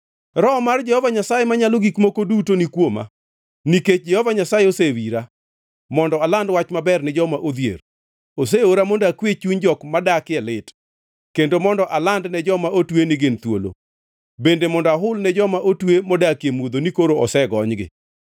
Roho mar Jehova Nyasaye Manyalo Gik Moko Duto ni kuoma, nikech Jehova Nyasaye osewira, mondo aland wach maber ne joma odhier. Oseora mondo akwe chuny jok modakie lit, kendo mondo aland ne joma otwe ni gin thuolo, bende mondo ahul ne joma otwe modakie mudho ni koro osegonygi.